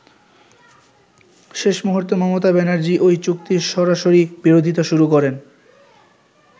শেষ মুহুর্তে মমতা ব্যানার্জী ওই চুক্তির সরাসরি বিরোধিতা শুরু করেন।